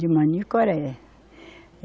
De Manicoré.